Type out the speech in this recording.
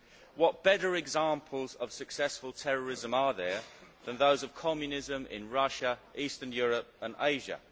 What better examples of successful terrorism are there than those of Communism in Russia, Eastern Europe and Asia?